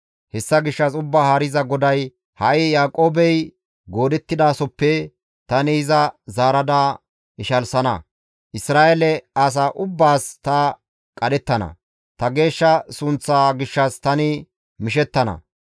«Hessa gishshas Ubbaa Haariza GODAY, ‹Ha7i Yaaqoobey goodettidasoppe tani iza zaarada ishalsana; Isra7eele asaa ubbaas ta qadhettana; ta geeshsha sunththaa gishshas tani mishettana.